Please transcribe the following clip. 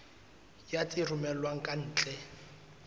ya tse romellwang ka ntle